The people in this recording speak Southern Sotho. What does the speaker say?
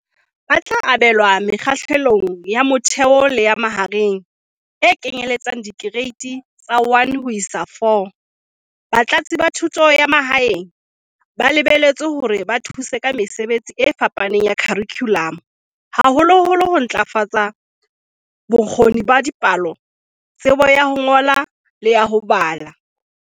"Ba tla abelwa Mekgahlelong ya Motheo le ya Mahareng, e kenyelletsang Dikereiti tsa 1 ho isa 4."Batlatsi ba Thuto ya Ma haeng ba lebelletswe hore ba thuse ka mesebetsi e fapaneng ya kharikhulamo, haholoholo ho ntlafatsa bo kgoni ba dipalo, tsebo ya ho ngola le ya ho bala.